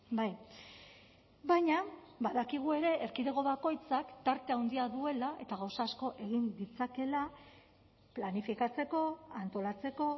bai baina badakigu ere erkidego bakoitzak tarte handia duela eta gauza asko egin ditzakela planifikatzeko antolatzeko